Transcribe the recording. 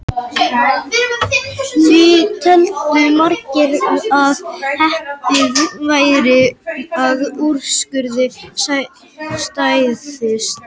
Því töldu margir að hæpið væri að úrskurðurinn stæðist.